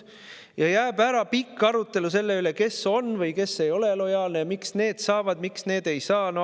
jääb ära pikk arutelu selle üle, kes on või kes ei ole lojaalne ja miks ühed saavad, aga teised ei saa.